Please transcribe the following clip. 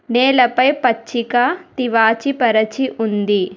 నేలపై పచ్చిక తివాచి పరచి ఉంది.